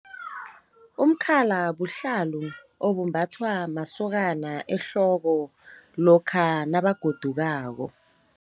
Umkhala buhlalu obumbathwa masokana ehloko lokha nabagodukako.